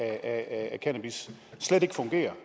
af cannabis slet ikke fungerer